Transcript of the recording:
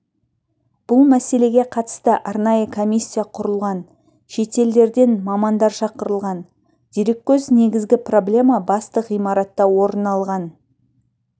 бұл мәселеге қатысты арнайы комиссия құрылған шетелдерден мамандар шақырылған дереккөз негізгі проблема басты ғимаратта орын алған